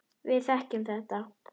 Við þekkjum þetta.